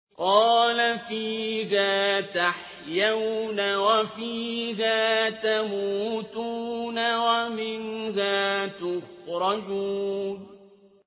قَالَ فِيهَا تَحْيَوْنَ وَفِيهَا تَمُوتُونَ وَمِنْهَا تُخْرَجُونَ